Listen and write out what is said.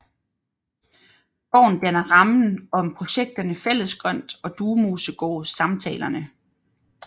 Gården danner rammen om projekterne Fællesgrønt og Duemosegård Samtalerne